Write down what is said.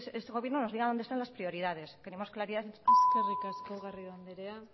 este gobierno nos diga dónde están las prioridades queremos claridad eskerrik asko garrido andrea